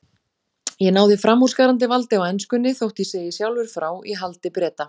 Ég náði framúrskarandi valdi á enskunni- þótt ég segi sjálfur frá- í haldi Breta.